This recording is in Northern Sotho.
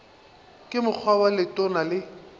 ka mokgwa wo letona le